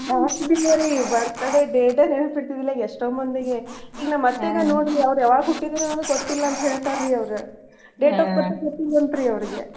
ಆಗ್ತಿದ್ಲಾ ರೀ birthday date ನೆನ್ಪ ಇರ್ತಿದಿಲ್ಲ ಎಷ್ಟ ಮಂದಿಗೆ ಈಗ್ ನಮ್ ಅತ್ತೇನ ನೋಡ್ರಿ ಅವ್ರ ಯಾವಾಗ್ ಹುಟ್ಟಿದಾರ್ ಅನ್ನೋದ್ ಗೊತ್ತಿಲ್ಲ ಅಂತ್ ಹೇಳ್ತಾರ್ ಅವ್ರ date of birth ಗೊತ್ತಿಲಂತ್ರಿ ಅವ್ರಗೆ.